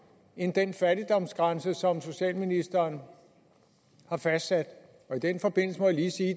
end den fattigdomsgrænse som socialministeren har fastsat i den forbindelse må jeg lige sige